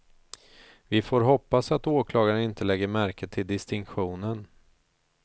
Vi får hoppas att åklagaren inte lägger märke till distinktionen.